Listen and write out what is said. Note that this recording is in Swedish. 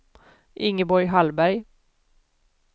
Ingeborg Hallberg